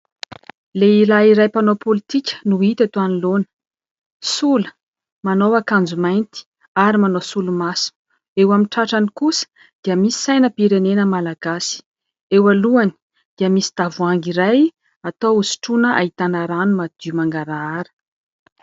Lehilahy iray mpanao politika no hita eto anoloana. Sola, manao akanjo mainty ary manao solomaso ; eo amin'ny tratrany kosa dia misy sainam-pirenena Malagasy. Eo alohany, dia misy tavoahangy iray atao ho sotroina ahitana rano madio mangarahara.